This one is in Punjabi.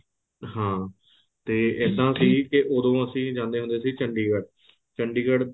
ਹਾਂ ਤੇ ਇੱਦਾਂ ਸੀ ਕੇ ਉਦੋਂ ਅਸੀਂ ਜਾਂਦੇ ਹੁੰਦੇ ਸੀ ਚੰਡੀਗੜ੍ਹ ਚੰਡੀਗੜ੍ਹ